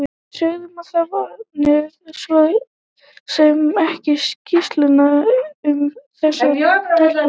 Við sögðum að það vantaði svo sem ekki skýrslurnar um þessa telpu.